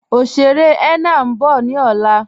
Oṣèrè henna n bọ̀ ni ọlá